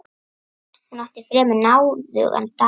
Hún átti fremur náðugan dag.